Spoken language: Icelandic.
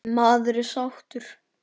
Maður er sáttur.